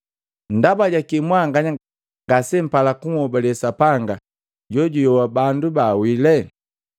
Ndaba jaki mwanganya ngasempala kunhobale Sapanga juyoa bandu baawile?